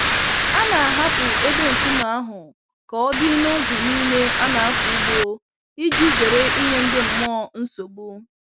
A na-ahapụ ebe nkume ahụ ka ọ dị n'oge niile a na-akọ ugbo iji zere ịnye ndị mmụọ nsogbu.